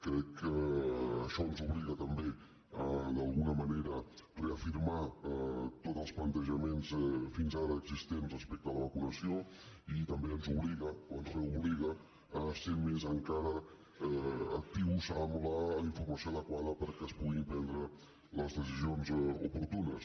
crec que això ens obliga també d’alguna manera a reafirmar tots els plantejaments fins ara existents respecte a la vacunació i també ens obliga o ens reobliga a ser més encara actius amb la informació adequada perquè es puguin prendre les decisions oportunes